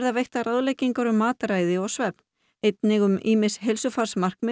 veittar ráðleggingar um mataræði og svefn einnig um ýmis